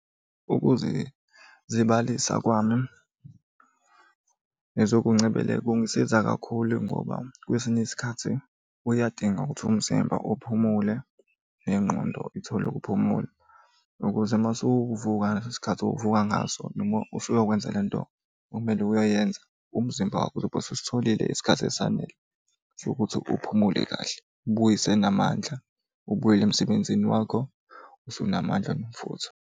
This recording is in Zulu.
Ukuze zibalisa kwami ngezokuncebeleka, kungisiza kakhulu ngoba kwesinye isikhathi kuyadinga ukuthi umzimba uphumule nengqondo ithole ukuphumula ukuze uma usuvuka ngaleso sikhathi ovuka ngaso noma usuyokwenze le nto okumele uyoyenza umzimba wakho uzobe ususitholile isikhathi esanele sokuthi uphumule kahle, ubuyise namandla, ubuyele emsebenzini wakho usunamandla nomfutho.